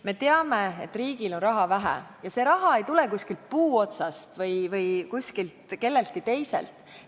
Me teame, et riigil on raha vähe ja see raha ei tule kuskilt puu otsast või kelleltki teiselt.